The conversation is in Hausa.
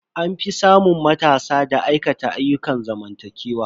An fi samun matasa da aikata ayyukan zamantakewa.